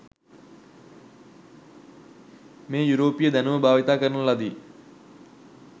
මේ යුරෝපීය දැනුම භාවිත කරන ලදි.